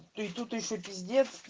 то и тут ещё пиздец